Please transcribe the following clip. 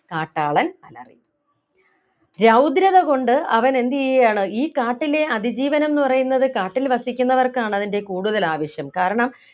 കാട്ടാളൻ അലറി രൗദ്രത കൊണ്ട് അവൻ എന്ത് ചെയ്യുകയാണ് ഈ കാട്ടിലെ അതിജീവനം എന്ന് പറയുന്നത് കാട്ടിൽ വസിക്കുന്നവർക്കാണ് അതിൻ്റെ കൂടുതൽ ആവശ്യം കാരണം